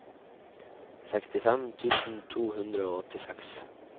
sekstifem tusen to hundre og åttiseks